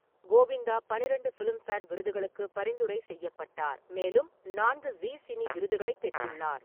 கோவிந்தா பன்னிரெண்டு ஃபிலிம்பேர் விருதுகளுக்கு பரிந்துரை செய்யப்பட்ட்டார், மேலும் நான்கு ஜீ சினி விருதுகளைப் பெற்றுள்ளார்.